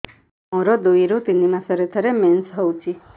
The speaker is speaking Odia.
ମୋର ଦୁଇରୁ ତିନି ମାସରେ ଥରେ ମେନ୍ସ ହଉଚି